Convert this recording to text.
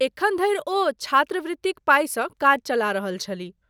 अखन धरि ओ छात्रवृत्तिक पाइसँ काज चला रहल छलीह।